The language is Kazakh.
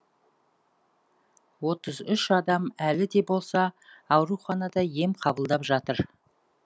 отыз үш адам әлі де болса ауруханада ем қабылдап жатыр